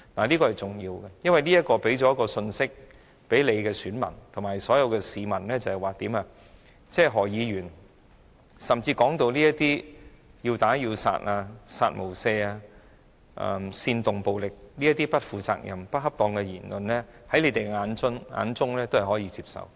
這是重要的，因為這是向你們的選民及所有市民帶出一項信息，在你們眼中，何君堯議員的"殺無赦"、煽動暴力等不負責任、不恰當的言論均是可以接受的。